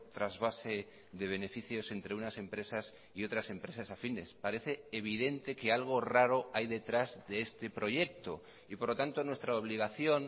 trasvase de beneficios entre unas empresas y otras empresas afines parece evidente que algo raro hay detrás de este proyecto y por lo tanto nuestra obligación